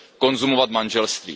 konzumovat manželství.